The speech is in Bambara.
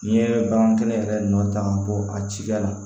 N'i ye bagan kɛnɛ yɛrɛ nɔ ta ka bɔ a cida la